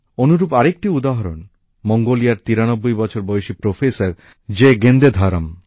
অনুরূপ আরেকটি উদাহরণ মঙ্গোলিয়ার ৯৩ বছর বয়সি প্রফেসর জেগেন্দেধরম